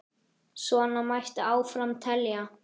Svona mætti áfram telja.